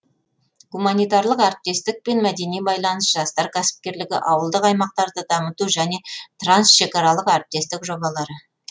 гуманитарлық әріптестік пен мәдени байланыс жастар кәсіпкерлігі ауылдық аймақтарды дамыту және трансшекаралық әріптестік жобалары